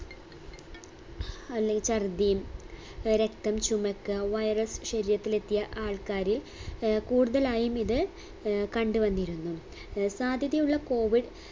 അല്ലെങ്കിൽ ചർദി അഹ് രക്തം ചുമക്കുക virus ശരീരത്തിൽ എത്തിയ ആൾക്കാരിൽ ഏർ കൂടുതലായും ഇത് ഏർ കണ്ട് വന്നിരുന്നു ഏർ സാധ്യതയുള്ള COVID